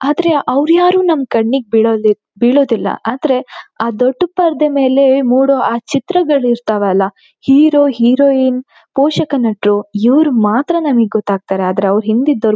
ಆದ್ರೆ ಅವರು ಯಾರು ನಮ್ಮ ಕಣ್ಣಿಗೆ ಬಿಳೋಳು ಬೀಳೋದಿಲ್ಲಾ ಆದ್ರೆ ಆ ದೊಡ್ಡ ಪರದೆ ಮೇಲೆ ಮೂಡೋ ಆ ಚಿತ್ರಗಳು ಇರತವಲ್ಲಾ ಹೀರೊ ಹೀರೋಯಿನ್ ಪೋಷಕ ನಟರು ಯೂರು ಮಾತ್ರ ನಮಗೆ ಗೊತ್ತಾತರೆ ಅವರ ಹಿಂದಿದ್ದೋರು--